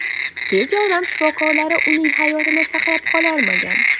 Tez yordam shifokorlari uning hayotini saqlab qololmagan.